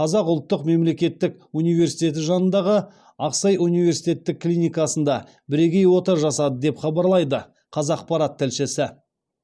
қазақ ұлттық мемлекеттік университеті жанындағы ақсай университеттік клиникасында бірегей ота жасады деп хабарлайды қазақарат тілшісі